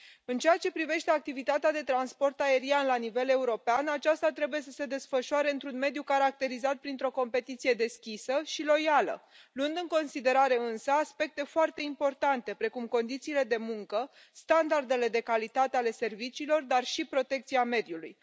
În ceea ce privește activitatea de transport aerian la nivel European, aceasta trebuie să se desfășoare într un mediu caracterizat printr o competiție deschisă și loială, luând în considerare, însă, aspecte foarte importante, precum condițiile de muncă, standardele de calitate ale serviciilor, dar și protecția mediului.